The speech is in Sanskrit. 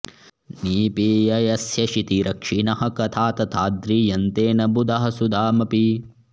निपीय यस्य क्षितिरक्षिणः कथा तथाद्रियन्ते न बुधाः सुधामपि